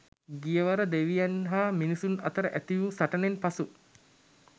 ගියවර දෙවියන් හා මිනිසුන් අතර ඇති වූ සටනෙන් පසු